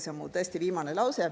See on tõesti mu viimane lause.